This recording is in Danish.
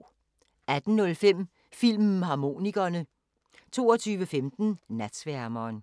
18:05: Filmharmonikerne 22:15: Natsværmeren